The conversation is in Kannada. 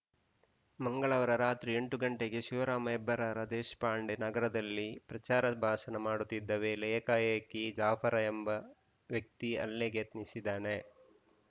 ಮಂಗಳವಾರ ರಾತ್ರಿ ಎಂಟು ಗಂಟೆಗೆ ಶಿವರಾಮ ಹೆಬ್ಬಾರ ದೇಶಪಾಂಡೆ ನಗರದಲ್ಲಿ ಪ್ರಚಾರ ಭಾಷಣ ಮಾಡುತ್ತಿದ್ದ ವೇಳೆ ಏಕಾಏಕಿ ಜಾಫರ ಎಂಬ ವ್ಯಕ್ತಿ ಹಲ್ಲೆಗೆ ಯತ್ನಿಸಿದ್ದಾನೆ